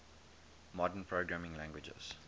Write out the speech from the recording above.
modern programming languages